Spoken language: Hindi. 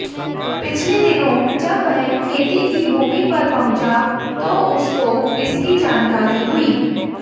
पिछले दिनों जब वह खेती की भूमि पर पहुंचा तो उसको इसकी जानकारी हुई